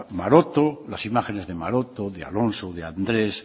maroto las imágenes de maroto de alonso de andrés